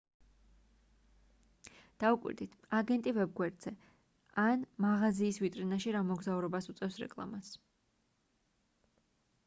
დაუკვირდით აგენტი ვებ-გვერდზე ან მაღაზიის ვიტრინაში რა მოგზაურობას უწევს რეკლამას